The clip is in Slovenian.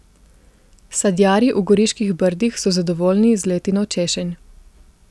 Sadjarji v Goriških Brdih so zadovoljni z letino češenj.